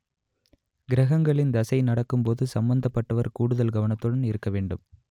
கிரகங்களின் தசை நடக்கும் போது சம்பந்தப்பட்டவர் கூடுதல் கவனத்துடன் இருக்க வேண்டும்